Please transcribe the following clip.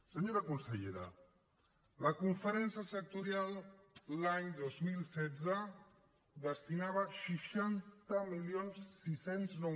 senyora consellera la conferència sectorial l’any dos mil setze hi destinava seixanta mil sis cents i nou